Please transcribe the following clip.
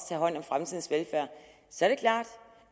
tage hånd om fremtidens velfærd så er det klart